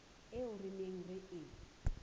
eo re neng re e